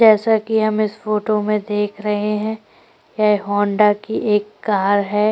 जैसा कि हम इस फोटो में देख रहै है यह होंडा की एक कार हैं।